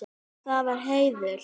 Það var heiður.